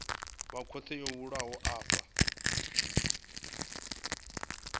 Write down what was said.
wa khothe yo bulwaho afho